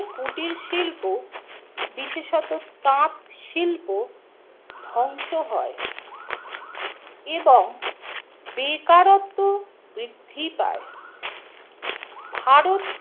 কুটির শিল্প বিশেষত তাঁত শিল্প ধ্বংস হয় এবং বেকারত্ব বৃদ্ধি পায় । ভারত